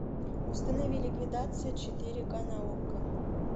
установи ликвидация четыре ка на окко